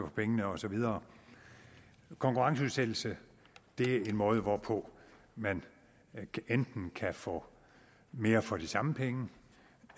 pengene og så videre konkurrenceudsættelse er en måde hvorpå man enten kan få mere for de samme penge